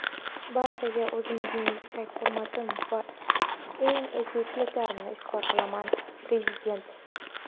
barchangizga o‘zimning yuksak hurmatim va eng ezgu tilaklarimni izhor qilaman – Prezident.